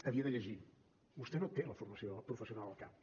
havia de llegir vostè no té la formació professional al cap